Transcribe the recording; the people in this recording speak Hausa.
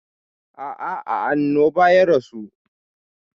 A'a, a annoba ya rasu.